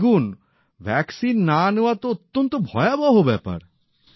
দেখুন ভ্যাক্সিন না নেওয়া তো অত্যন্ত ভয়াবহ ব্যাপার